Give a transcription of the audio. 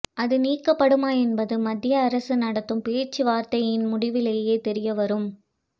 அது நீக்கப்படுமா என்பது மத்திய அரசு நடத்தும் பேச்சுவார்த்தையின் முடிவிலேயே தெரியவரும்